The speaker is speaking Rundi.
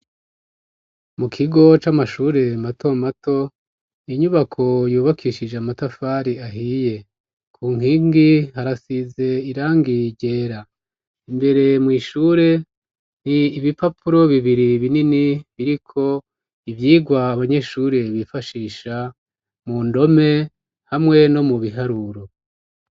Mu kigo c'amashure mato mato inyubako yubakishije amatafari ahiye, ku nkingi harasize irangi ryera, imbere mw'ishure nti ibipapuro bibiri binini biriko ivyigwa abanyeshure bifashisha mu ndome hamwe no mu biharuro.